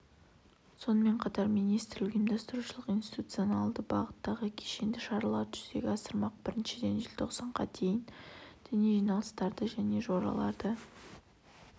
сонымен қатар министрлік ұйымдастырушылық-институционалды бағыттағы кешенді шараларды жүзеге асырмақ біріншіден желтоқсанға дейін діни жиналыстарды және жораларды